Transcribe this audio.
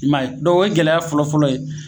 I m'a ye dɔnku o ye gɛlɛya fɔlɔfɔlɔ ye